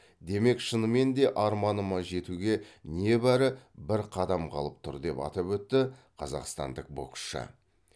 демек шынымен де арманыма жетуге небәрі бір қадам қалып тұр деп атап өтті қазақстандық боксшы